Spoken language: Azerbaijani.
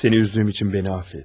Səni üzdüyüm üçün məni aff et.